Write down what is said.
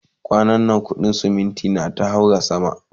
kwanan na kudin ceminti ta haura sama